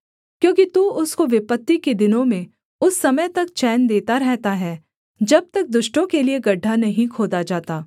क्योंकि तू उसको विपत्ति के दिनों में उस समय तक चैन देता रहता है जब तक दुष्टों के लिये गड्ढा नहीं खोदा जाता